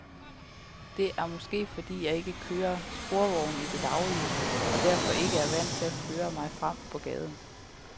Det er måske, fordi jeg ikke kører sportsvogn i det daglige og derfor ikke er vant til at føre mig frem på gaden.